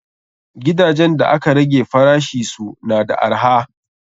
Gidajen da aka rage farashisu na da arha.